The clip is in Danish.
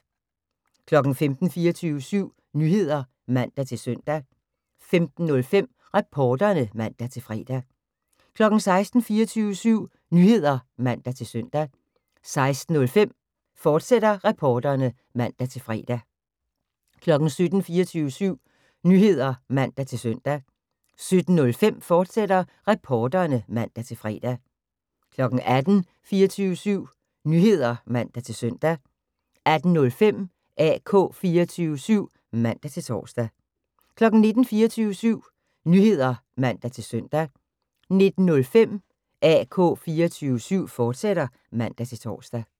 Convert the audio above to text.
15:00: 24syv Nyheder (man-søn) 15:05: Reporterne (man-fre) 16:00: 24syv Nyheder (man-søn) 16:05: Reporterne, fortsat (man-fre) 17:00: 24syv Nyheder (man-søn) 17:05: Reporterne, fortsat (man-fre) 18:00: 24syv Nyheder (man-søn) 18:05: AK 24syv (man-tor) 19:00: 24syv Nyheder (man-søn) 19:05: AK 24syv, fortsat (man-tor)